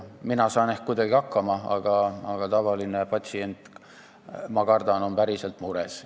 Mina saan ehk kuidagi hakkama, aga ma kardan, et tavaline patsient on päriselt mures.